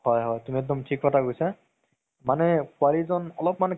আৰু এটা কথা তোমাৰ আহ কি কয় দৃশ্যম movie চাইছা নে নাই অজয় দেভ্গানৰ?